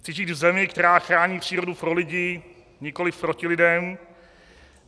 Chci žít v zemi, která chrání přírodu pro lidi, nikoli proti lidem.